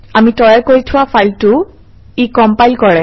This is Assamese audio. আমি তৈয়াৰ কৰি থোৱা ফাইলটো ই কম্পাইল কৰে